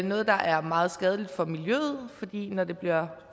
noget der er meget skadeligt for miljøet fordi der når det bliver